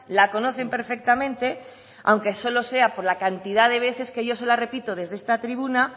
la conocen perfectamente aunque solo sea por la cantidad de veces que yo se la repito desde esta tribuna